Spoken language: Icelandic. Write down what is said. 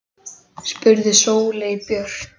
spurði Sóley Björk.